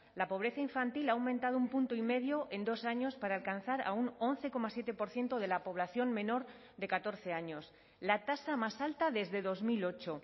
la pobreza infantil ha aumentado un punto y medio en dos años para alcanzar a un once coma siete por ciento de la población menor de catorce años la tasa más alta desde dos mil ocho